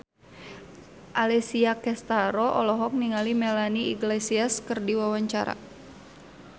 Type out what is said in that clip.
Alessia Cestaro olohok ningali Melanie Iglesias keur diwawancara